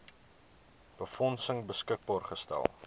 befondsing beskikbaar gestel